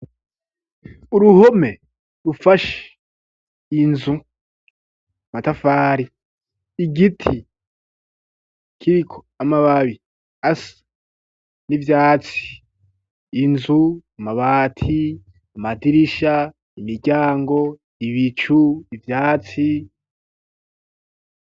Uruhome rufashe inzu amatafari igiti kiriko amababi asa n'ivyatsi inzu amabati amadirisha imiryango ibicu ivyatsi.